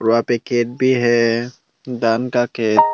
वहां पे खेत भी है दान का खेत--